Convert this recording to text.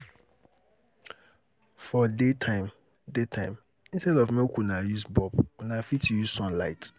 We dey wash our clothes for daytime so sun go dry dem quick.